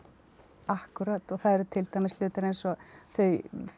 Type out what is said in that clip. það eru til dæmis hlutir eins og þau